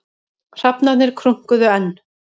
Hrafnarnir krunkuðu enn.